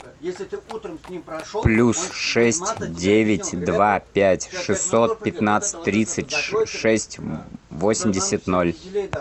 плюс шесть девять два пять шестьсот пятнадцать тридцать шесть восемьдесят ноль